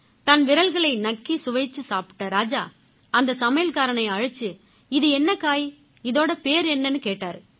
தன் விரல்களை நக்கி சுவைச்சு சாப்பிட்ட ராஜா அந்த சமையல்காரனை அழைச்சு இது என்ன காய் இதோட பேரு என்னன்னு கேட்டாரு